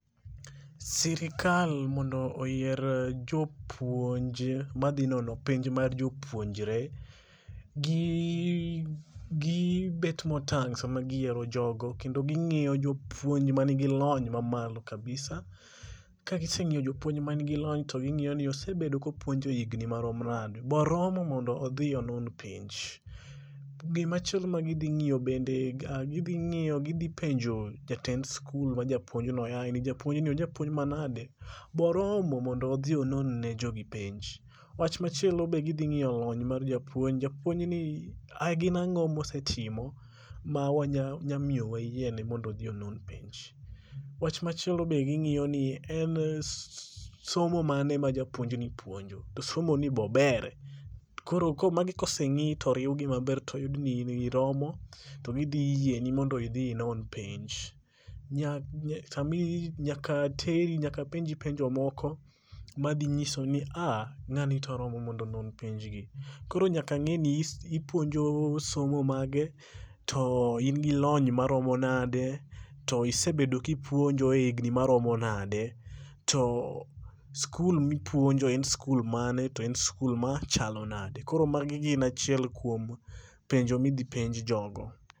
Sirikal mondo oyier jopuonje, madhi nono penj mar jopuonjre, gi bet motang' sama giyiero jogo kendo ging'iyo jopuonj manigi lony mamalo kabisa. Kagiseng'iyo jopuonj manigi lony, to ging'iyo ni osebedo kopuonjo higni marom nade. Be oromo mondo odhi onon penj?. Machielo ma gidhi ng'iyo gidhi penjo jatend skul ma ja puonjno yaye ,ni japuonjno, ojapuonj manade, be oromo mondo odhi onon ne jogi penj?. Wach machielo be gidhi ng'iyo lony mar japuonj, japuonj ni ,gin ang'o mosetimo ma wanya miyo wayiene mondo odhi ono penj. Wach machielo be ging'iyo ni be en somo mane ma japuonjni puonjo, to somoni be obere. Koro magi koseng'i to oriw gi maber to oyud ni in oromo to gidhi yieni mondo idhi inon penj. Nyaka penji penjo moko ma dhi nyiso ni aa, ng'ani to oromo mondo onon penjgi. Koro nyaka ng'i ni ipuonjo somo mage, to in gi lony maromo nade?. To isebedo kipuonjo e hignhi maromo nade, to skul mipuonjoe en skul mane, to en skul machalo nade. Koro magi gin achiel kuom penjo midhi penj jogo.